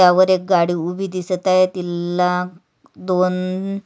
त्यावर एक गाडी उभी दिसत आहे तिला दोन--